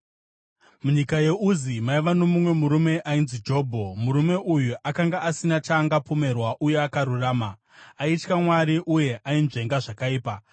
Munyika yeUzi maiva nomumwe murume ainzi Jobho. Murume uyu akanga asina chaangapomerwa uye akarurama; aitya Mwari uye ainzvenga zvakaipa.